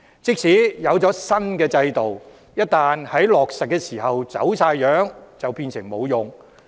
即使推出新制度，一旦落實時走樣，便會變得無用。